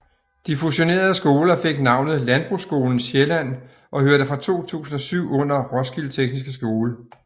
De fusionerede skoler fik navnet Landbrugsskolen Sjælland og hørte fra 2007 under Roskilde Tekniske Skole